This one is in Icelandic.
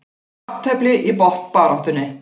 Jafntefli í botnbaráttunni